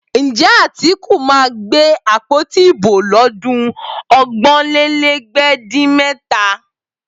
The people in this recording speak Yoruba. Ǹjẹ́ Átíkù tún máa gbé àpótí ìbò lọ́dún ọgbọ̀nlélẹ́gbàá dín mẹ́ta?